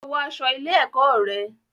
Lọ wọ aṣọ ilé-ẹ̀kọ́ rẹ.